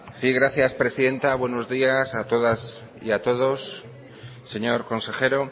sí gracias presidenta buenos días a todas y a todos señor consejero